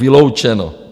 Vyloučeno.